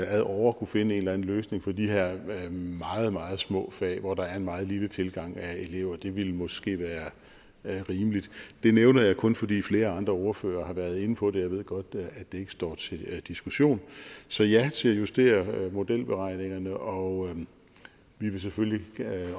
ad åre kunne finde en eller anden løsning for de her meget meget små fag hvor der er en meget lille tilgang af elever det ville måske være rimeligt det nævner jeg kun fordi flere andre ordførere har været inde på det og jeg ved godt at det ikke står til diskussion så ja til at justere modelberegningerne og vi vil selvfølgelig